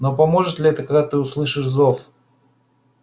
но поможет ли это когда ты услышишь зов